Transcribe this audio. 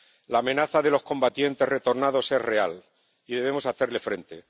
La amenaza de los combatientes retornados es real y debemos hacerle frente.